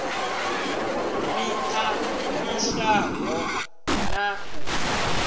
miṱa i shayaho na u